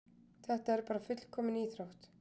Þetta er bara fullkomin íþrótt.